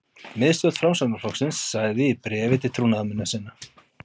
Miðstjórn Framsóknarflokksins sagði í bréfi til trúnaðarmanna sinna